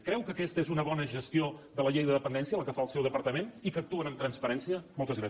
creu que aquesta és una bona gestió de la llei de dependència la que fa el seu departament i que actuen amb transparència moltes gràcies